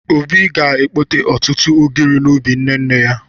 Obi ga-ekpote ọtụtụ ụgịrị n'ubi nne nne ya.